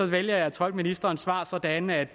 vælger jeg at tolke ministerens svar sådan at